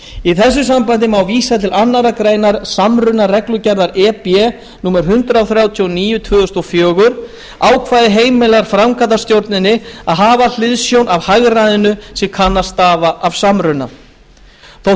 í þessu sambandi má vísa til annarrar greinar samrunareglugerðar e b númer hundrað þrjátíu og níu tvö þúsund og fjögur ákvæðið heimilar framkvæmdastjórninni að hafa hliðsjón af hagræðinu sem kann að stafa af samruna þótt